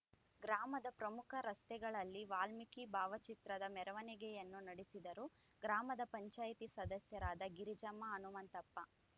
ಗ್ರಾಮದ ಪ್ರಮುಖ ರಸ್ತೆಗಳಲ್ಲಿ ವಾಲ್ಮೀಕಿ ಭಾವಚಿತ್ರದ ಮೆರವಣಿಯನ್ನು ನಡೆಸಿದರು ಗ್ರಾಮದ ಪಂಚಾಯಿತಿ ಸದಸ್ಯರಾದ ಗಿರಿಜಮ್ಮ ಹನುಮಂತಪ್ಪ